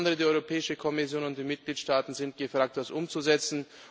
insbesondere die Europäische Kommission und die Mitgliedstaaten sind gefragt, das umzusetzen.